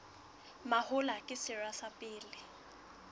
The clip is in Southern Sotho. mahola ke sera sa pele